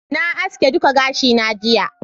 na haske duka gashi na jiya